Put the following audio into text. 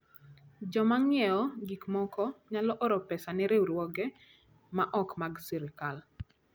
Joma ng'iewo gik moko nyalo oro pesa ne riwruoge ma ok mag sirkal.